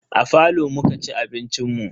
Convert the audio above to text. A falo muka ci abincin mu.